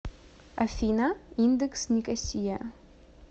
афина индекс никосия